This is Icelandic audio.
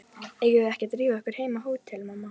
Eigum við ekki að drífa okkur heim á hótel, mamma?